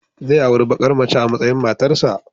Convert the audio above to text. Zai auri bakar mace a matsayin matarsa